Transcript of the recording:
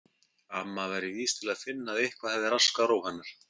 Amma væri vís til að finna að eitthvað hefði raskað ró hennar.